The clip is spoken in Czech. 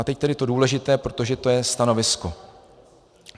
A teď tedy to důležité, protože to je stanovisko.